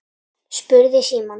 spurði Símon.